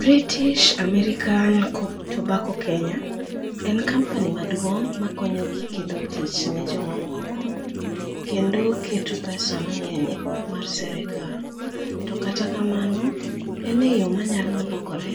British American Tobacco Kenya en company maduong' mokonyo gi kelo tich ne jomamoko, kendo keto pesa mang'eny e pok mar serekal. To kata kamano, en e yo manyalo lokore